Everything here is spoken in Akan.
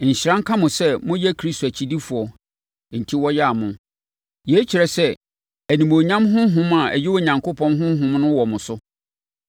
Nhyira nka mo sɛ moyɛ Kristo akyidifoɔ enti wɔya mo. Yei kyerɛ sɛ animuonyam honhom a ɛyɛ Onyankopɔn Honhom no wɔ mo so.